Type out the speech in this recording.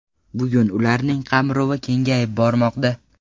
Bugun ularning qamrovi kengayib bormoqda.